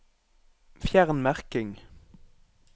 Fjern merking